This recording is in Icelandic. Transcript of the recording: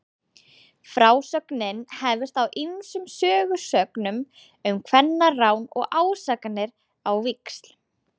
frásögnin hefst á ýmsum sögusögnum um kvennarán og ásakanir á víxl